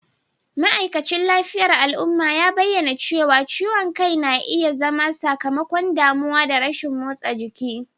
ma'aikacin lafiyar al'umma ya bayyana cewa ciwon kai na iya zama sakamakon damuwa da rashin motsa jiki